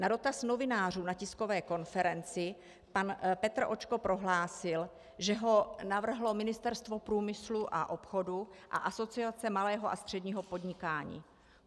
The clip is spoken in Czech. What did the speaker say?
Na dotaz novinářů na tiskové konferenci pan Petr Očko prohlásil, že ho navrhlo Ministerstvo průmyslu a obchodu a Asociace malého a středního podnikání.